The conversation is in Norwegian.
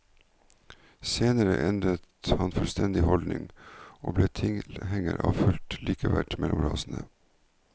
Senere endret han fullstendig holdning, og ble tilhenger av fullt likeverd mellom rasene.